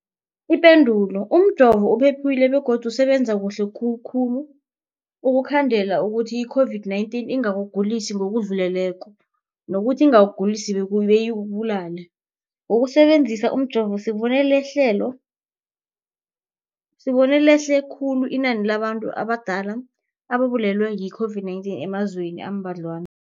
Ipendulo, umjovo uphephile begodu usebenza kuhle khulu ukukhandela ukuthi i-COVID-19 ingakugulisi ngokudluleleko, nokuthi ingakugulisi beyikubulale. Ngokusebe nzisa umjovo, sibone lehle khulu inani labantu abadala ababulewe yi-COVID-19 emazweni ambadlwana.